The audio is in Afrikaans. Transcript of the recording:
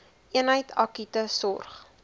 eenheid akute sorg